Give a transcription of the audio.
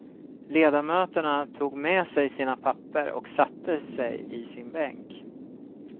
Ledamöterna tog med sig sina papper och satte sig i sin bänk.